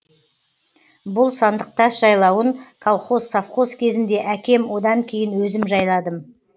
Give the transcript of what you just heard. бұл сандықтас жайлауын колхоз совхоз кезінде әкем одан кейін өзім жайладым